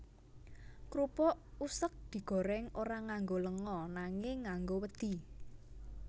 Krupuk useg digorèng ora nganggo lenga nanging nganggo wedhi